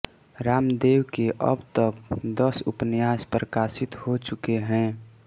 रामदेव के अब तक दस उपन्यास प्रकाशित हो चुके हैं